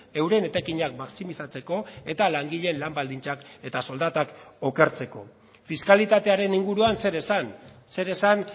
euren etekinak maximizatzeko eta langileen lan baldintzak eta soldatak okertzeko fiskalitatearen inguruan zer esan zer esan